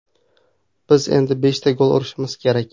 Biz endi beshta gol urishimiz kerak.